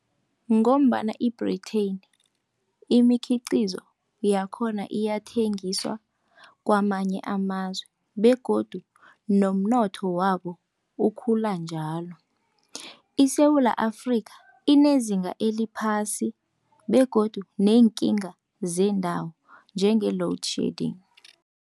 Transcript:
Ngombana i-Britain, imikhiqizo yakhona iyathengiswa kamanye amazwe begodu nomnotho wabo ukhula njalo. ISewula Afrika, inezinga eliphasi begodu neenkinga zendawo, njenge-loadshedding.